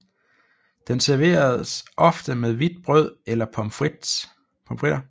Den serveres ofte med hvidt brød eller pommes frites